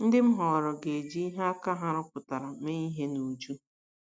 Ndị m họọrọ ga - eji ihe aka ha rụpụtara mee ihe n’uju. ”